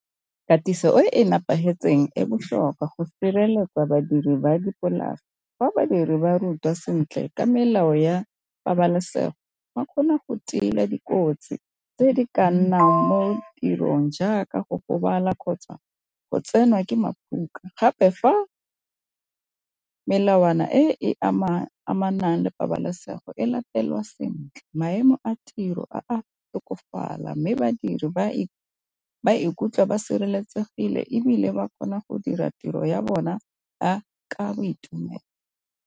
Katiso e nepagetseng e botlhokwa go fa sireletswa badiri ba dipolase, fa badiri ba rutiwa sentle ka melao ya pabalesego ba kgona go tila dikotsi tse di ka nnang mo tirong jaaka go gobala kgotsa go tsenwa ke . Gape fa melawana e e amanang le pabalesego e latelwa sentle maemo a tiro a tokafala, mme badiri ba ba ikutlwa ba sireletsegile ebile ba kgona go dira tiro ya bona ka boitumelo.